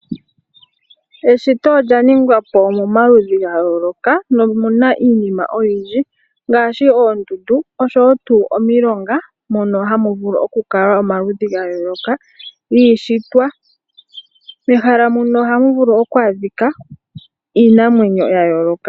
Eshito olyaningwa po momaludhi gayooloka mo omuna miinima oyindji ngaashi, oondundu osho wo tu omilonga mono hamu vulu okukala omaludhi gayooloka giishitwa. Mehala muno ohamu vulu okwadhikwa iinamwenyo yayooloka.